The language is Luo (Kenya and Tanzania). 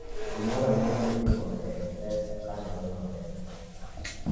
gimoro amora mitimo ei mpesa kanore maber